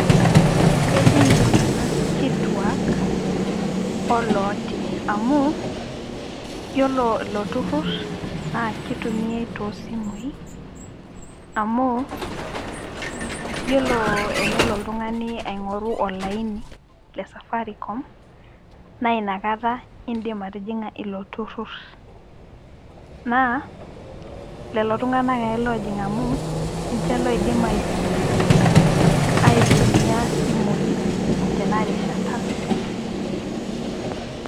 kejing' iltunganak kituak olooti. amu, iyiolo ilo turu naa kitumiae too simui, amu iyiolo enelo oltungani aing'oru olaini, le safaricom naa inakata idim atijing'a ilo turur naa lelo tunganak ake loojing' amu ninche loidim aitumia isimui tena rishata.